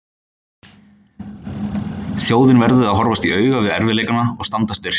Þjóðin verði að horfast í augu við erfiðleikana og standa styrk.